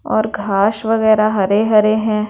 और घाश वगैरह हरे-हरे हैं।